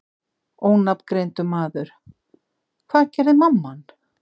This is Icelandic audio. Ónafngreindur maður: Hvað gerði mamman?